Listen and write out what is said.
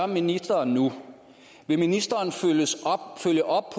ministeren nu vil ministeren følge op